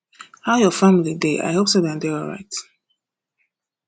how your family dey i hope say dem dey alright